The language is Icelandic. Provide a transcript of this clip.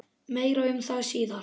Meir um það síðar.